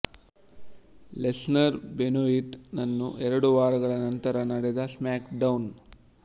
Lesnar Benoit ನನ್ನು ಎರಡು ವಾರಗಳ ನಂತರ ನಡೆದ ಸ್ಮ್ಯಾಕ್ ಡೌನ್